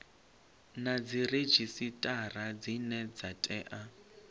na dziredzhisitara dzine dza tea